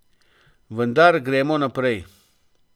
Vendar gremo naprej.